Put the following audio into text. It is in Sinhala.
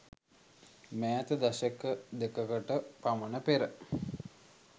මෑත දශක දෙකකට පමණ පෙර